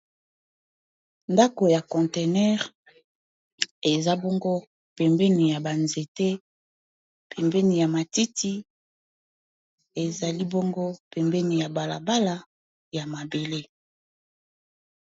ndako ya contenere eza bongo pembeni ya banzete pembeni ya matiti ezali boongo pembeni ya balabala ya mabele